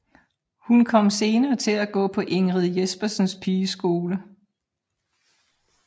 Hun kom senere til at gå på Ingrid Jespersens pigeskole